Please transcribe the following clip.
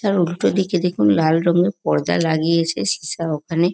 তার উল্টো দিকে দেখুন লাল রঙের পর্দা লাগিয়েছে সীসা ওখানে ।